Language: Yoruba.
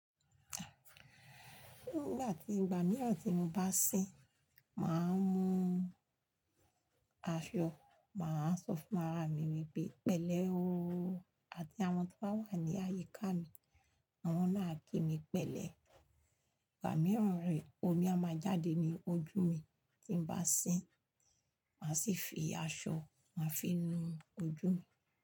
Nígbà tí ìgbà mìíràn tí mo bá ń sìn, mà á mú aṣọ, mà á sọ fún ara mi wípé pẹ̀lẹ́ ooo àti àwọn to bá wà ní àyíká mi, àwọn náà a kí mi pẹ̀lẹ́. Ìgbà mìíràn re, omi a máa jáde ní ojú mi tí ń bá sìn, mà á sì fi aṣọ, mà á fi nu ojú mi.